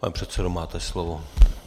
Pane předsedo, máte slovo.